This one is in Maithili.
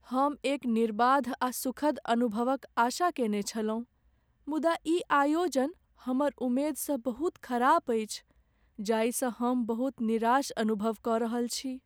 हम एक निर्बाध आ सुखद अनुभवक आशा कयने छलहुँ, मुदा ई आयोजन हमर उमेद सँ बहुत खराब अछि, जाहिसँ हम बहुत निराश अनुभव क रहल छी ।